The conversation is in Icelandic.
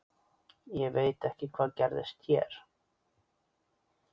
Ég veit ekki hvað gerðist hér.